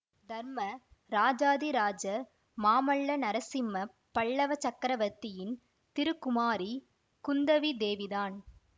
தர்ம ராஜாதி ராஜ மாமல்ல நரசிம்ம பல்லவ சக்கரவர்த்தியின் திருக்குமாரி குந்தவி தேவிதான்